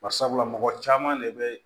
Barisabula mɔgɔ caman de be